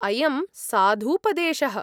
अयं साधूपदेशः।